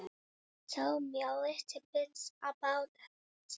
Segðu mér aðeins frá því?